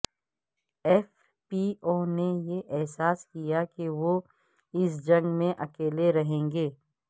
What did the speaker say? F P O نے یہ احساس کیا کہ وہ اس جنگ میں اکیلے رہیں گے